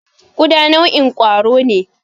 Ƙuda nau'in kwaro ne.